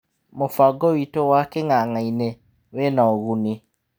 Mũbango witũ wa king'ang'ainĩ wĩna ũguni."